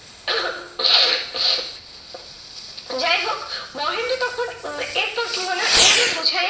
যাই হোক, মহেন্দ্র তখন উম এরপর কি হলো এই রূপ বোঝাইয়া